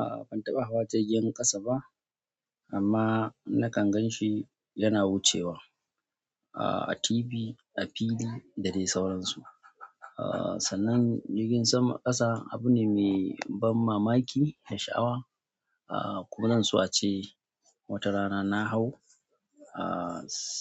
A'a ban taɓa hawa jirgin ƙasa ba amma nakan gan shi yana wucewa a TV a fili da dai sauransu. Sanan jirgin sama ƙasa abu ne mai ban mamaki da sha'awa kuma zan so ace wata rana na hau